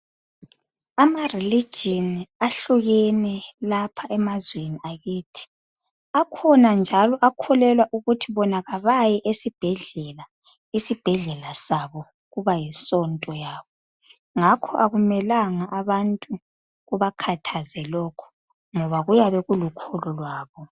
Ama religion ahlukene lapha emazweni akithi. Akhona njalo akholelwa ukuthi bona abayi esibhedlela, isibhedlela sabo kubayisonto yabo. Ngakho akumelanga abantu kubakhathaze lokhu ngoba kuyabe kulukholo lwabo.